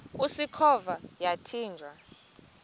usikhova yathinjw a